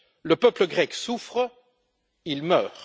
Le peuple grec souffre, il meurt.